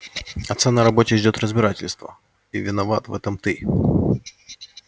отца на работе ждёт разбирательство и виноват в этом ты